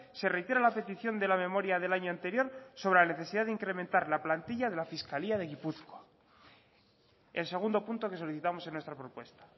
se reitera la petición de la memoria del año anterior sobre la necesidad de incrementar la plantilla de la fiscalía de gipuzkoa el segundo punto que solicitamos en nuestra propuesta